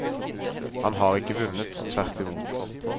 Han har ikke vunnet, tvert imot.